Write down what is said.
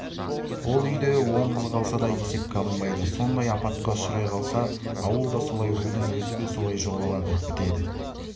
ол үйде он қыз қалса да есепке алынбайды сондай апатқа ұшырай қалса ауыл да солай рудың өзі де солай жоғалады бітеді